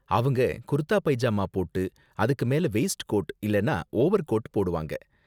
அவங்க kurta pyjama waistcoat மேல வெய்ஸ்ட் கோட் இல்லனா ஓவர்கோட் போடுவாங்க